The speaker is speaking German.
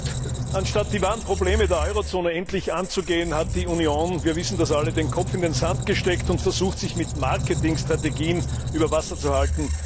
Herr Präsident! Anstatt die wahren Probleme der Eurozone endlich anzugehen, hat die Union wir wissen das alle den Kopf in den Sand gesteckt und versucht, sich mit Marketingstrategien über Wasser zu halten.